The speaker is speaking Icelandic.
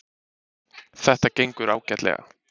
Þetta gengur ágætlega